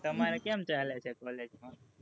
તમારે કેમ ચાલે છે, college માં?